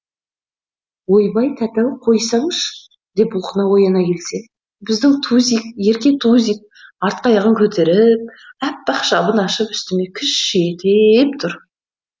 ойбай тәте ау қойсаңшы деп бұлқына ояна келсем біздің тузик ерке тузик артқы аяғын көтеріп аппақ шабын ашып үстіме кіш ете еп тұр